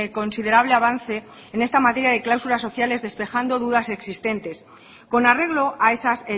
considerable avance en esta materia de cláusulas sociales despejando dudas existentes con arreglo a esas